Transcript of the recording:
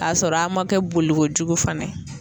K'a sɔrɔ a man kɛ boli kojugu fana ye.